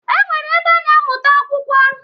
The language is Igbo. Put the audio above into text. E nwere ebe a na-amụta akwụkwọ.